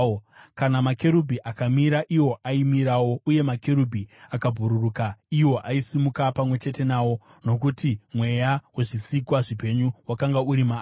Kana makerubhi akamira, iwo aimirawo; uye makerubhi akabhururuka, iwo aisimuka pamwe chete nawo, nokuti mweya wezvisikwa zvipenyu wakanga uri maari.